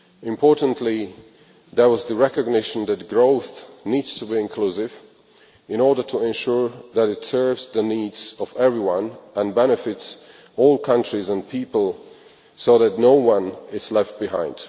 Importantly, there was the recognition that growth needs to be inclusive in order to ensure that it serves the needs of everyone and benefits all countries and people so that no one is left behind.